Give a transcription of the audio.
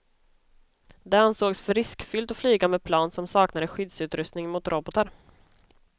Det ansågs för riskfyllt att flyga med plan som saknade skyddsutrustning mot robotar.